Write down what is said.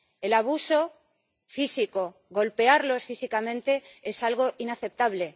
El abuso físico, golpearlos físicamente, es algo inaceptable.